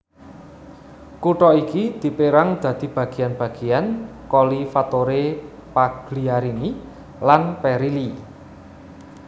Kutha iki dipérang dadi bagéan bagéan Colli Fattore Pagliarini lan Perilli